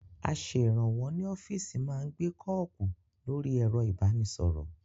Aṣèrànwọ́ ní ọ́fíìsì má ń gbé kọ́ọ̀kù lórí ẹ̀rọ ìbánisọ̀rọ̀